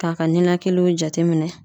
K'a ka ninakiliw jateminɛ.